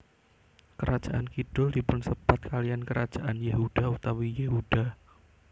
Kerajaan kidhul dipunsebat kaliyan kerajaan Yehuda utawi Yehuda